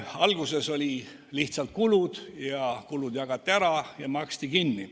Alguses olid lihtsalt kulud, need jagati ära ja maksti kinni.